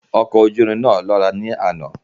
Ọkọ̀-ojúrin náà lọ́ra ní àná